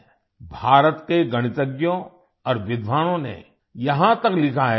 भारत के गणितज्ञों और विद्वानों ने यहाँ तक लिखा है कि